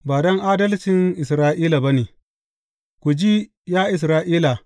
Ba don adalcin Isra’ila ba ne Ku ji, ya Isra’ila.